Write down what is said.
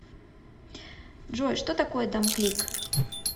джой что такое домклик